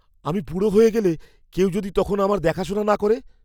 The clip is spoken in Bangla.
আমি বুড়ো হয়ে গেলে, কেউ যদি তখন আমার দেখাশোনা না করে?